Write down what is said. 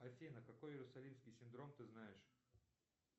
афина какой иерусалимский синдром ты знаешь